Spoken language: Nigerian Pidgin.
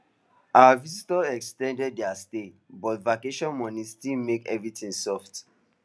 our visitors ex ten d their stay but vacation money still make everything soft